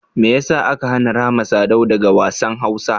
Mai ya sa aka hana Rahma Sadau daga wassan Hausa?